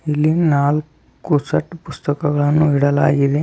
ಇಲ್ಲಿ ನಾಲಕ್ಕು ಸೆಟ್ ಪುಸ್ತಕಗಳನ್ನು ಇಡಲಾಗಿದೆ.